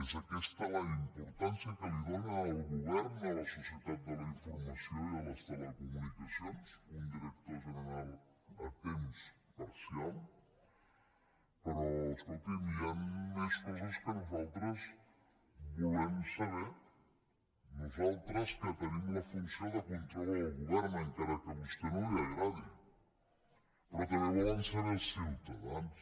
és aquesta la importància que li dóna el govern a la societat de la informació i a les telecomunicacions un director general a temps parcial però escolti’m hi han més coses que nosaltres volem saber nosaltres que tenim la funció de control al govern encara que a vostè no li agradi però també ho volen saber els ciutadans